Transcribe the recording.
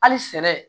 Hali sɛ